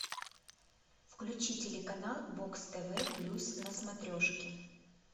включи телеканал бокс тв плюс на смотрешке